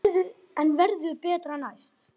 En það verður betra næst.